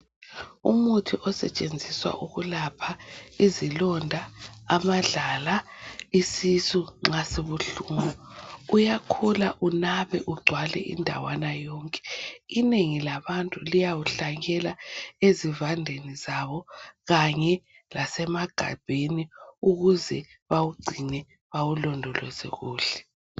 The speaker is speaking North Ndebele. Umuthi osetshenziswa ukuyelapha izilonda amadlala isisu nxa sibuhlungu uyakhula unabe ungcwale indawana yonke ingeni labantu liyawuhlanyela ezibandeni zabo kanye lasemagabheni ukuze bawungcibe bawulondoleze kuhle